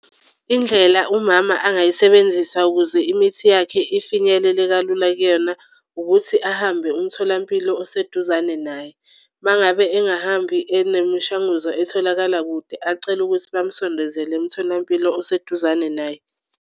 Indlela umama angayisebenzisa ukuze imithi yakhe ifinyelele kalula kuyena ukuthi ahambe umtholampilo oseduzane naye. Uma ngabe engahambi enemishanguzo etholakala kude acele ukuthi bamsondezele emtholampilo oseduzane naye.